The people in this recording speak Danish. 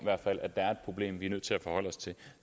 at der er et problem vi er nødt til at forholde os til